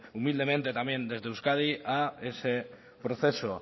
humildemente también desde euskadi a ese proceso